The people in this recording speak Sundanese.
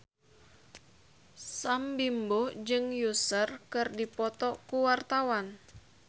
Sam Bimbo jeung Usher keur dipoto ku wartawan